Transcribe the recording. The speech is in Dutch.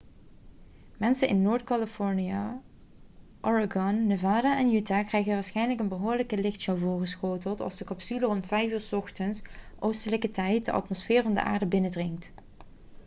mensen in noord-californië oregon nevada en utah krijgen waarschijnlijk een behoorlijke lichtshow voorgeschoteld als de capsule rond 5 uur 's ochtends oostelijke tijd de atmosfeer van de aarde binnendringt